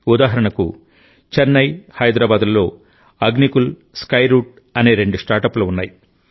ఉదాహరణకుచెన్నై హైదరాబాద్లలోఅగ్నికుల్ స్కైరూట్ అనే రెండు స్టార్టప్లు ఉన్నాయి